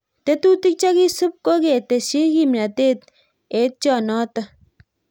Tetutik chekisup ko ketesyii kimnatet etyoo notok